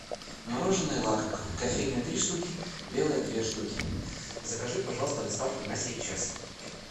мороженное лакомка кофейное три штуки белое две штуки закажи пожалуйста доставку на сейчас